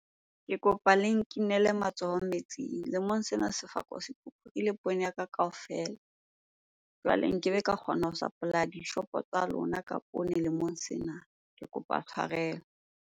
Ke kopa le nkinele matsoho metsing. Lemong sena ha se kgaoha, sefako poone ya ka kaofela. Jwale nkebe ka kgona ho supplier dishopo tsa lona ka poone lemong sena. Ke kopa tshwarelo.